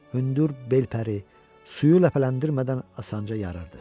Hündür bel pəri suyu ləpələndirmədən asanca yarırdı.